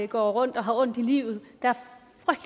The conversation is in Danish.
går rundt og har ondt i livet der